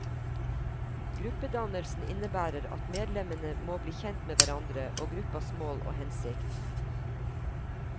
Gruppedannelsen innebærer at medlemmene må bli kjent med hverandre og gruppas mål og hensikt.